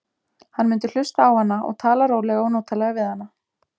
Hann mundi hlusta á hana og tala rólega og notalega við hana.